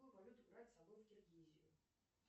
какую валюту брать с собой в киргизию